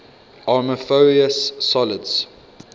amorphous solids